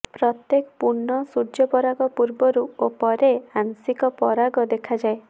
ପ୍ରତ୍ୟେକ ପୂର୍ଣ୍ଣ ସୂର୍ଯ୍ୟୋପରାଗ ପୂର୍ବରୁ ଓ ପରେ ଆଂଶିକ ପରାଗ ଦେଖାଯାଏ